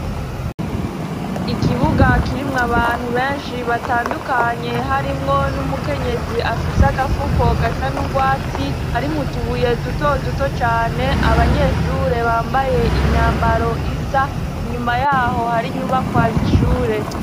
Ikibuga kirimw' abantu benshi batandukanye harimwo n'umukenyezi afis' agafuko gasa n'urwatsi ,harimutubuye duto duto cane, abanyeshure bambaye imyambaro isa, inyuma yaho har'inyubakwa z'ishure.